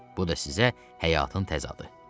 Bu da sizə həyatın təzadı.